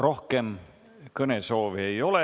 Rohkem kõnesoovi ei ole.